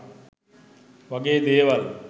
වගේ දේවල්